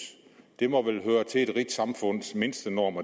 det må vel høre til et rigt samfunds mindstenorm